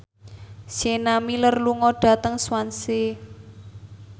Sienna Miller lunga dhateng Swansea